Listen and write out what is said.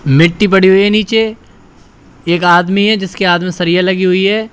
मिट्टी पड़ी हुई है नीचे एक आदमी है जिसके हाथ में सरिया लगी हुई है।